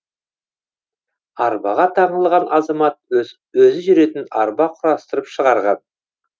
арбаға таңылған азамат өзі жүретін арба құрастырып шығарған